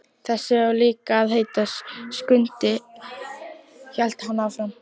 Þessi á líka að heita Skundi, hélt hann áfram.